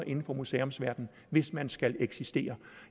inden for museumsverdenen hvis man skal eksistere